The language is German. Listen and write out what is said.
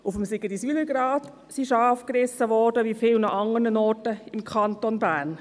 Auf dem Sigriswilergrat wurden Schafe gerissen, wie an vielen anderen Orten im Kanton Bern.